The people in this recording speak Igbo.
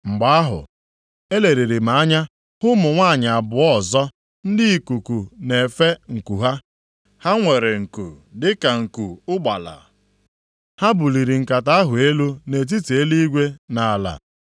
Mgbe ahụ, eleliri m anya hụ ụmụ nwanyị abụọ ọzọ, ndị ikuku na-efe nku ha. Ha nwere nku dịka nku ụgbala. Ha buliri nkata ahụ elu nʼetiti eluigwe na ala.